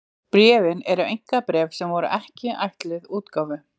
Bréfin eru einkabréf sem voru ekki ætluð útgáfu.